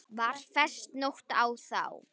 Var fest nót á þá.